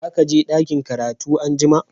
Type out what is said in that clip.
Za ka je dakin karatu an'jumma?